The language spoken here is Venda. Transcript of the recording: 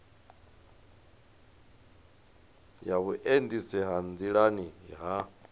ya vhuendisi ha nḓilani ha